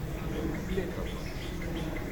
Leta pač.